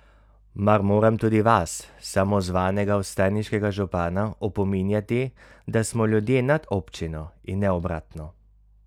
Mar moram tudi vas, samozvanega vstajniškega župana, opominjati, da smo ljudje nad občino in ne obratno?